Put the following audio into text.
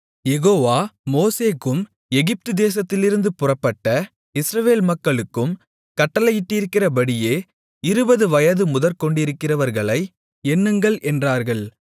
யெகோவா மோசேக்கும் எகிப்துதேசத்திலிருந்து புறப்பட்ட இஸ்ரவேல் மக்களுக்கும் கட்டளையிட்டிருக்கிறபடியே இருபது வயது முதற்கொண்டிருக்கிறவர்களை எண்ணுங்கள் என்றார்கள்